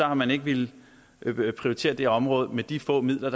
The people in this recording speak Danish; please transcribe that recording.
har man ikke villet prioritere det område med de få midler